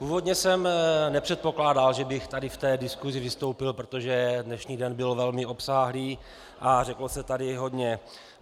Původně jsem nepředpokládal, že bych tady v té diskusi vystoupil, protože dnešní den byl velmi obsáhlý a řeklo se tady hodně.